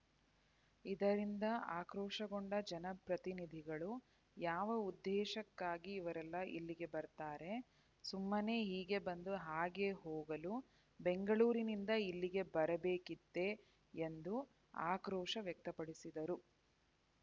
ಇದರಿಂದ ಆಕ್ರೋಶಗೊಂಡ ಜನಪ್ರತಿನಿಧಿಗಳು ಯಾವ ಉದ್ದೇಶಕ್ಕಾಗಿ ಇವರೆಲ್ಲಾ ಇಲ್ಲಿಗೆ ಬರ್ತಾರೆ ಸುಮ್ಮನೆ ಹೀಗೆ ಬಂದು ಹಾಗೆ ಹೋಗಲು ಬೆಂಗಳೂರಿನಿಂದ ಇಲ್ಲಿಗೆ ಬರಬೇಕಿತ್ತೆ ಎಂದು ಆಕ್ರೋಶ ವ್ಯಕ್ತಪಡಿಸಿದರು